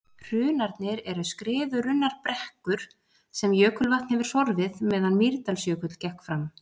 Hrunarnir eru skriðurunnar brekkur sem jökulvatn hefur sorfið meðan Mýrdalsjökull gekk framar.